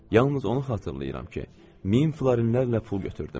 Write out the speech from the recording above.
Yalnız onu xatırlayıram ki, 1000 florinlərlə pul götürdüm.